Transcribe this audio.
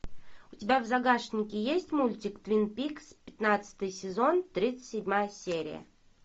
у тебя в загашнике есть мультик твин пикс пятнадцатый сезон тридцать седьмая серия